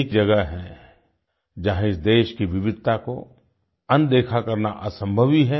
एक जगह है जहां इस देश की विविधता को अनदेखा करना असंभव ही है